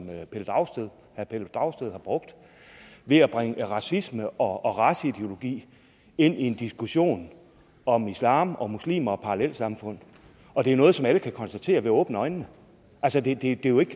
herre pelle dragsted har brugt ved at bringe racisme og raceideologi ind i en diskussion om islam om muslimer og parallelsamfund det er noget som alle kan konstatere ved at åbne øjnene altså det er jo ikke